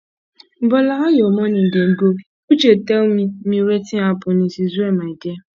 bola how your morning dey go uche tell me me wetin happen it is well my dear